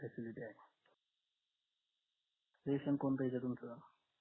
ration येतंय तुमचं